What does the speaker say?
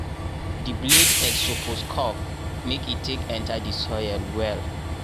di blade edge suppose curve make e take enta di soil well.